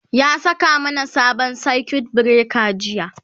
ya saka mana sabon circuit breaker jiya